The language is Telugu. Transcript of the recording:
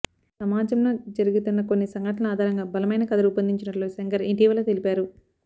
సమాజంలో జరిగుతున్న కొన్ని సంఘటనల ఆధారంగా బలమైన కథ రూపొందించినట్లు శంకర్ ఇటీవల తెలిపారు